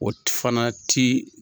O fana ti.